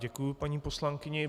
Děkuji paní poslankyni.